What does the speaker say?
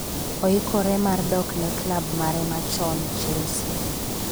oikore mar dok ne klab mare machon Chelsea